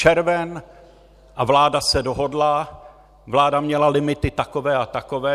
Červen a vláda se dohodla, vláda měla limity takové a takové.